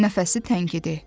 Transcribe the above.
Nəfəsi tənkidi.